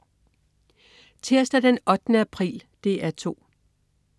Tirsdag den 8. april - DR 2: